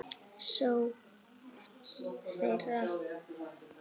sókn þeirra?